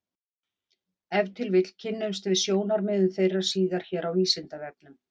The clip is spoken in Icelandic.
Ef til vill kynnumst við sjónarmiðum þeirra síðar hér á Vísindavefnum.